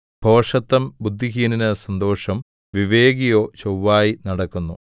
ഭോഷത്തം ബുദ്ധിഹീനന് സന്തോഷം വിവേകിയോ ചൊവ്വായി നടക്കുന്നു